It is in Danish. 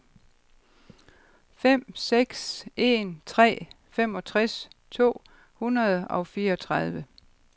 fem seks en tre femogtres to hundrede og fireogtredive